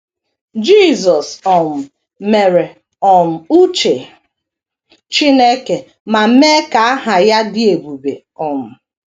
Jisọs um mere um uche Chineke ma mee ka aha Ya dị ebube. um